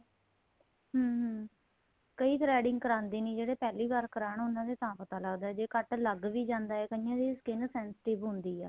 ਹਮ ਕਈ threading ਕਰਾਂਦੇ ਨਹੀਂ ਜਿਹੜੇ ਪਹਿਲੀ ਵਾਰ ਕਰਵਾਣ ਉਹਨਾ ਤੇ ਤਾਂ ਪਤਾ ਲੱਗਦਾ ਜੇ ਕੱਟ ਲੱਗ ਵੀ ਜਾਂਦਾ ਏ ਕਈਆਂ ਦੀ skin sensitive ਹੁੰਦੀ ਆ